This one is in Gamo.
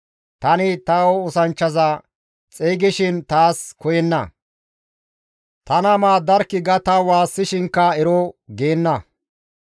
Tani ta oosanchchaza xeygishin izi taas koyenna; «tana maaddarkkii» ga ta waassishinkka ero geenna.